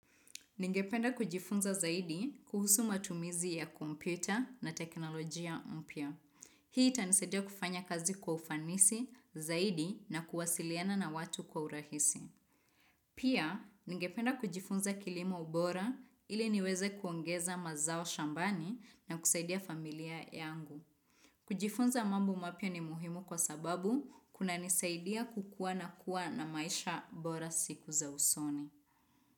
Ningependa kujifunza zaidi kuhusu matumizi ya kompyuta na teknolojia mpya. Hii itanisaidia kufanya kazi kwa ufanisi zaidi na kuwasiliana na watu kwa urahisi. Pia, ningependa kujifunza kilimo ubora ili niweze kuongeza mazao shambani na kusaidia familia yangu. Kujifunza mambo mapya ni muhimu kwa sababu kunanisaidia kukua na kuwa na maisha bora siku za usoni.